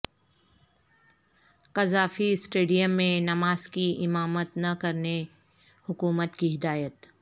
Gaddafi stadium میں نماز کی امامت نہ کرنے حکومت کی ہدایت